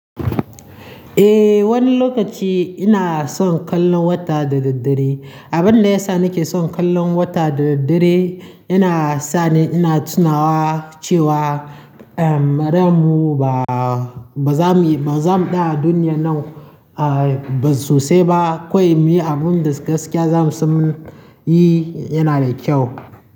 Eh, wani lokaci ina son kallon wata da daddare. Abin da ya sa nake son kallon wata da daddare yana sa ni ina tunawa cewa, ehm, ran mu ba, ba za mu yi, ba za mu tsaya a duniya nan, ah, ba sosai ba. Kawai muyi abun da gaskiya za mu son munyi yana da kyau.